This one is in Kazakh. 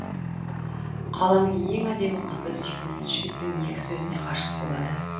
қаланың ең әдемі қызы сүйкімсіз жігіттің екі сөзіне ғашық болады